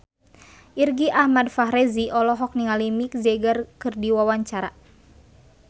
Irgi Ahmad Fahrezi olohok ningali Mick Jagger keur diwawancara